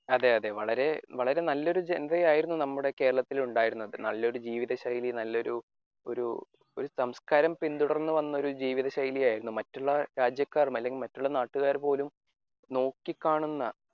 അതെ അതെ വളരെ വളരെ നല്ലൊരു ജനതയായിരുന്നു നമ്മുടെ കേരളത്തിൽ ഉണ്ടായിരുന്നത് നല്ലൊരു ജീവിത ശൈലി നല്ലൊരു ഒരു സംസ്കാരം പിന്തുടരുന്ന ഒരു ജീവിത ശൈലിയായിരുന്നു. മറ്റുള്ള രാജ്യക്കാർ അല്ലെങ്കിൽ മറ്റുള്ള നാട്ടുകാർ പോലും നോക്കിക്കാണുന്ന